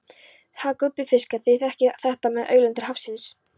Ha gúbbífiskar, þið þekkið þetta með auðlindir hafsins.